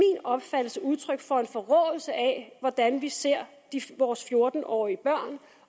opfattelse udtryk for en forråelse af hvordan vi ser vores fjorten årige børn